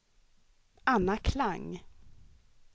Anna Klang